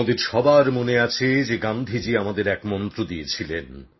আমাদের সবার মনে আছে যে গান্ধীজি আমাদের এক মন্ত্র দিয়েছিলেন